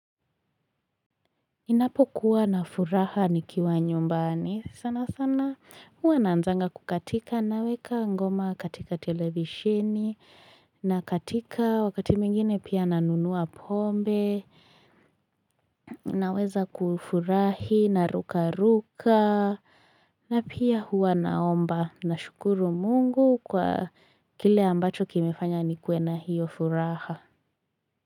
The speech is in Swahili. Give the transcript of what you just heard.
Ninapokuwa na furaha nikiwa nyumbani sana sana huwa naanzanga kukatika naweka ngoma katika televisheni na katika wakati mwingine pia na nunuwa pombe naweza kufurahi naruka ruka na pia huwa naomba nashukuru Mungu kwa kile ambacho kimefanya nikuwe na hiyo furaha.